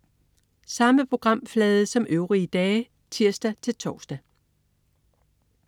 Samme programflade som øvrige dage (tirs-tors)